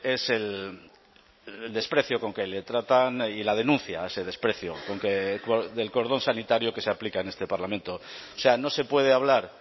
es el desprecio con que le tratan y la denuncia a ese desprecio del cordón sanitario que se aplica en este parlamento o sea no se puede hablar